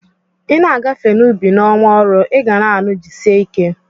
Ị na-agafe n'ubi n'ọnwa ọrụ, ị ga-anụ "jisie ike"